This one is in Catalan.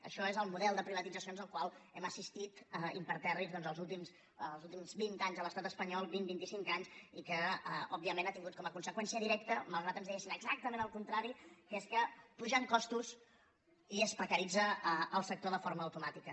això és el model de privatitzacions al qual hem assistit impertèrrits doncs els últims vint anys a l’estat espanyol vint vint i cinc anys i que òbviament ha tingut com a conseqüència directa malgrat ens diguessin exactament el contrari que és que pugen costos i es precaritza el sector de forma automàtica